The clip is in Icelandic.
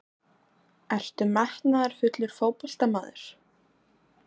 Ertu metnaðarfullur fótboltamaður?